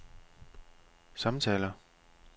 samtaler